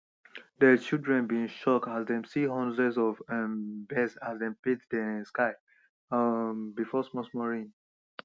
dey children been shock as dem see hundreds of um birds as dem paint dey sky um before small small rain